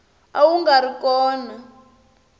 a wu nga ri kona